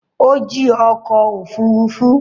Ó jí ọkọ̀-òfurufú?